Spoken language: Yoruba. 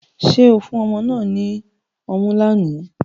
Ṣe o fun ọmọ náà ní ọmu lóni?